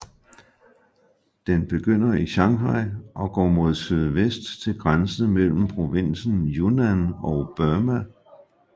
Den begynder i Shanghai og går mod sydvest til grænsen mellem provinsen Yunnan og Burma